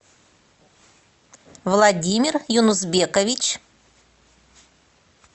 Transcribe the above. владимир юнузбекович